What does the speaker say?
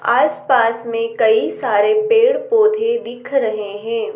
आस पास मे कही सारे पेड़-पौधे दिख रहे है।